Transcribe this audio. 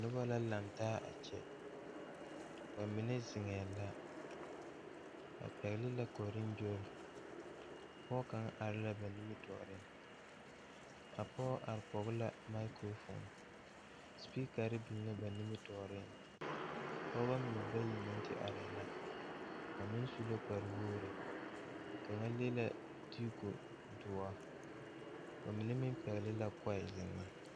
Noba lantaa yaga la bebe dɔɔba ane pɔgeba kaa pɔge kaŋ su kpare doɔre kaa dɔɔ meŋ be a ba niŋe saŋ a su Gaana falakyɛ kpare a seɛ Gaana falakyɛ kuri ka o nu bonyene a biŋ teŋa kyɛ teɛ a nu kaŋa meŋ a dɔɔ maale la pata.